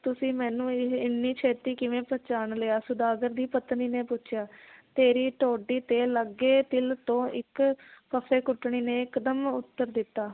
ਤੁਸੀਂ ਮੈਨੂੰ ਇਹ ਇੰਨੀ ਛੇਤੀ ਕਿਵੇਂ ਪਹਿਚਾਣ ਲਿਆ ਸੌਦਾਗਰ ਦੀ ਪਤਨੀ ਨੇ ਪੁੱਛਿਆ ਤੇਰੀ ਥੋਡੀ ਤੇ ਲੱਗੇ ਤਿਲ ਤੋਂ ਇੱਕ ਫੱਫੇ ਕੁੱਟਣੀ ਨੇ ਇਕਦਮ ਉੱਤਰ ਦਿੱਤਾ